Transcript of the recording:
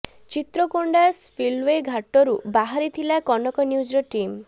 Chitrakonda spillway ଘାଟରୁ ବାହାରି ଥିଲା କନକ ନ୍ୟୁଜର ଟିମ୍